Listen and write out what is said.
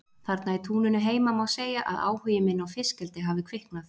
Þarna í túninu heima má segja að áhugi minn á fiskeldi hafi kviknað.